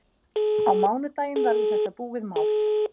Á mánudaginn verður þetta búið mál.